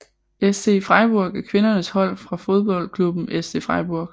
SC Freiburg er kvindernes hold fra fodboldklubben SC Freiburg